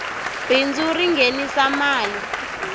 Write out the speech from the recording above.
bindzu ri nghenisa mali